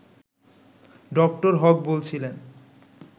ড. হক বলছিলেন